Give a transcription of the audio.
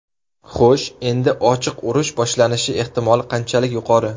Xo‘sh, endi ochiq urush boshlanishi ehtimoli qanchalik yuqori?